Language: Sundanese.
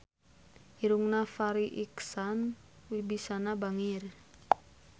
Irungna Farri Icksan Wibisana bangir